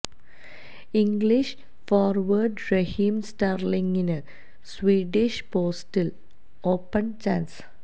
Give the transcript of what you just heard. English forward Raheem സ്റ്റെര്ലിങ്ങിന് Swedish പോസ്റ്റില് open chance